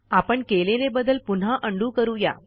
आपण केलेले बदल पुन्हा उंडो करू या